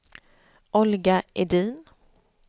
Olga Edin